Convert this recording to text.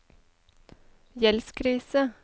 gjeldskrise